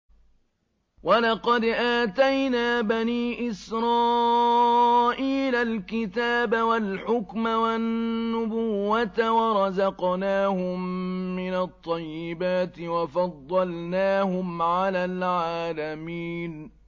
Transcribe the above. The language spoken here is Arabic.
وَلَقَدْ آتَيْنَا بَنِي إِسْرَائِيلَ الْكِتَابَ وَالْحُكْمَ وَالنُّبُوَّةَ وَرَزَقْنَاهُم مِّنَ الطَّيِّبَاتِ وَفَضَّلْنَاهُمْ عَلَى الْعَالَمِينَ